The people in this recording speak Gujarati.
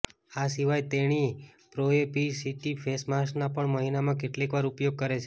આ સિવાય તેણી પ્રોએસીટી ફેસ માસ્કનો પણ મહિનામાં કેટલીકવાર ઉપયોગ કરે છે